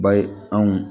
Ba ye anw